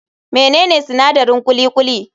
Menene sinadarin kuli kuli>?